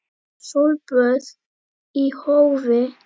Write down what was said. Sólböð í hófi.